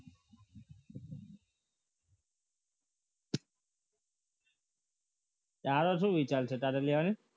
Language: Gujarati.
તારો શું વિચાર છે તારે લેવાની